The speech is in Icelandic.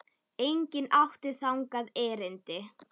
Enginn átti þangað erindi.